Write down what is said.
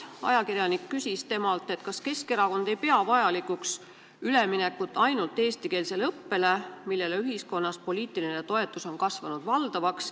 Ajakirjanik küsis temalt, kas Keskerakond ei pea vajalikuks üleminekut ainult eestikeelsele õppele, mille toetus on ühiskonnas valdavaks kasvanud.